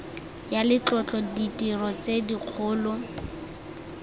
ya letlotlo ditiro tse dikgolo